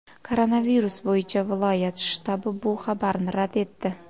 Koronavirus bo‘yicha viloyat shtabi bu xabarni rad etdi.